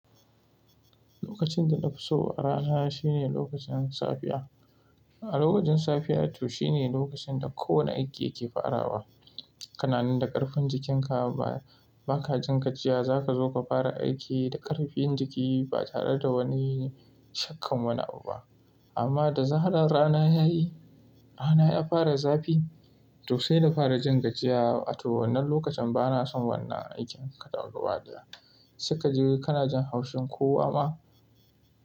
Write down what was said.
Lokacin da na fi so a rana shine lokacin safiya. A lokacin safiya to shine lokacin da kowane aiki yake farawa. Kananan da ƙarfin jikinka ba ka jin gajiya, za ka zo ka fara aiki da ƙarfin jiki ba tare da wani shakka wani abu ba. Amma da zaran rana ya yi, rana ya fara zafi, to sai na fara jin gajiya. A to wannan lokacin ba na son wannan aikin kaɗan ruwa daya. Suka ji kana jin haushin kowa ma.